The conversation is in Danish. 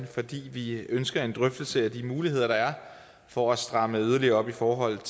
fordi vi ønsker en drøftelse af de muligheder der er for at stramme yderligere op i forhold